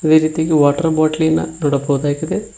ಅದೇ ರೀತಿಯಾಗಿ ವಾಟರ್ ಬಾಟಲಿಯನ್ನು ನೋಡಬಹುದಾಗಿದೆ.